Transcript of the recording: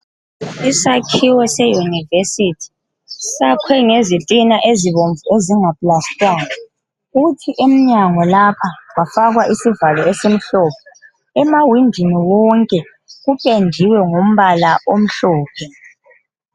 Isakhiwo se yunivesithi sakhwe ngezitina ezibomvu ezinga plastangwa kuthi emnyango lapha kwafakwa isivalo esimhlophe emawindini wonke kupendiwe ngombala omhlophe.